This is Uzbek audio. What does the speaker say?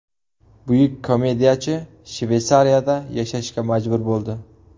Buyuk komediyachi Shveysariyada yashashga majbur bo‘ldi.